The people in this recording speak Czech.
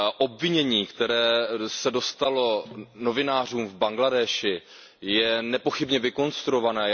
Obvinění, které se dostalo novinářům v Bangladéši, je nepochybně vykonstruované.